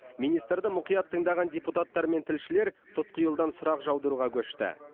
министрді мұқият тыңдаған депутаттар мен тілшілер тұтқиылдан сұрақ жаудыруға көшті